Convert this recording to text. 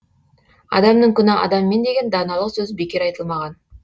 адамның күні адаммен деген даналық сөз бекер айтылмаған